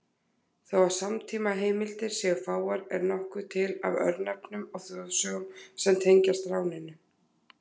Þó að samtímaheimildir séu fáar er nokkuð til af örnefnum og þjóðsögum sem tengjast ráninu.